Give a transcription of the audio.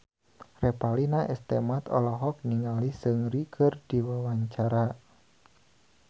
Revalina S. Temat olohok ningali Seungri keur diwawancara